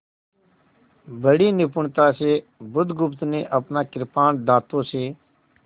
बड़ी निपुणता से बुधगुप्त ने अपना कृपाण दाँतों से